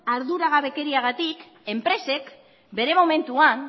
arduragabekeriagatik enpresek bere momentuan